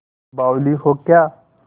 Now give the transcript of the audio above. बावली हो क्या